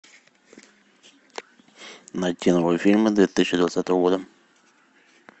найти новые фильмы две тысячи двадцатого года